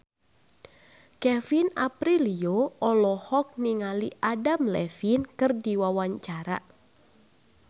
Kevin Aprilio olohok ningali Adam Levine keur diwawancara